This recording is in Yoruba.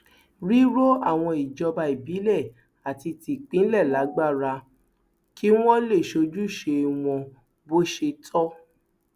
ríro àwọn ìjọba ìbílẹ àti tìpínlẹ lágbára kí wọn lè ṣojúṣe wọn bó ṣe tọ